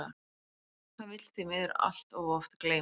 Það vill því miður allt of oft gleymast.